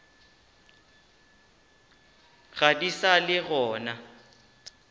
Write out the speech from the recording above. ga di sa le gona